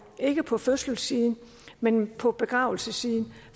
ikke på fødselssiden men på begravelsessiden